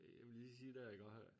Øh jeg vil lige sige dér iggå øh